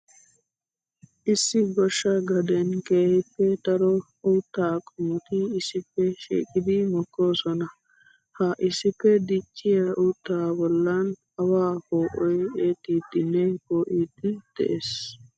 Issi goshsha gaden keehippe daro uutta qommotti issippe shiiqiddi mokkosonna. Ha issippe dicciya uutta bollan awaa poo'oy eexxiddenne poo'iddi de'ees.